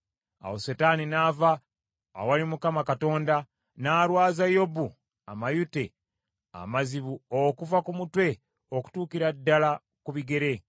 Awo Setaani n’ava awali Mukama Katonda, n’alwaza Yobu amayute amazibu okuva ku mutwe, okutuukira ddala ku bigere.